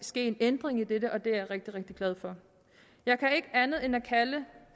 ske en ændring i dette og det er jeg rigtig rigtig glad for jeg kan ikke andet end at kalde